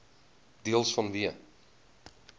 deels vanweë